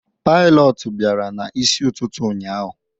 pilotu bịara n'isi ụtụtụ ụnyaahụ